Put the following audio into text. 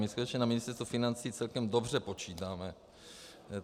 My skutečně na Ministerstvu financí celkem dobře počítáme.